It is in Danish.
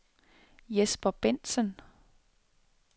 Jesper Bengtsen